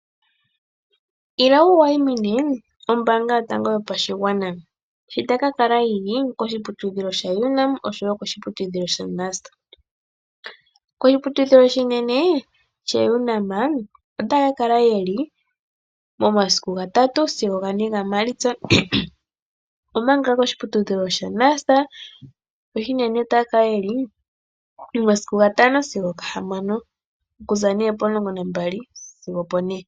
Ila wu wayimine ombaanga yotango yo pashigwana sho tayi kakala yili koshiputudhilo shaUNAM noshowo NUST. Koshiputudhilo shaUNAM oshinene otaya ka kala momasiku ga3-4 gaMaalitsa omanga koshiputudhilo shaNUST oshinene ota yaka kala ko 5-6 ethimbo okuza 12 sigo o16.